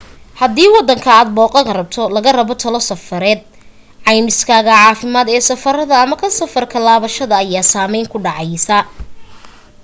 hadii waddanka aad booqan rabto laga rabo talo safareed caymiskaaga caafimaad ee safarka ama ka safar ka laabashada ayaa saameyn ku dhacaysaa